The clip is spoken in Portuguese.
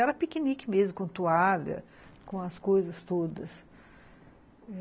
Era piquenique mesmo, com toalha, com as coisas todas.